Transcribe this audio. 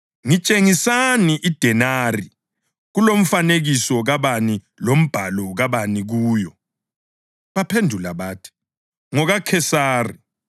“Ngitshengisani idenari. Kulomfanekiso kabani lombhalo kabani kuyo?” Baphendula bathi, “NgokaKhesari.”